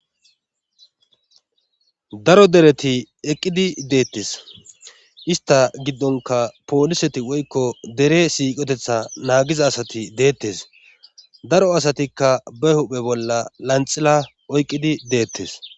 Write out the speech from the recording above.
daro dereti eqqidi deettes ista giddonka pooliseti woykko dere siiqotetha naagiza asati deettes daro asatikka ba huphe bolla lanxila oyqqidi deettes